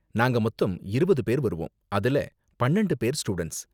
நாங்க மொத்தம் இருவது பேர் வருவோம், அதுல பன்னெண்டு பேர் ஸ்டூடண்ட்ஸ்